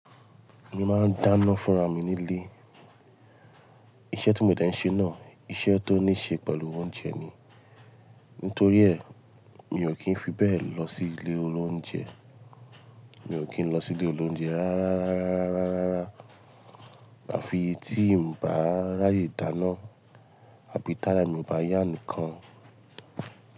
Mo máa ń dáná fúnra mi nílé. Iṣẹ́ tí mo dẹ́ ń ṣe náà, iṣẹ́ tó ní ṣe pẹ̀lú oúnjẹ ni. Nítorí ẹ̀, mi ò kí ń fi bẹ́ẹ̀ lọ sí ilé olóúnjẹ. Mi ò kí ń lọ sí ilé olóúnjẹ rárárárá, àfi tí mò bá ráyè dáná àbí tára mi ò bá yá nìkan.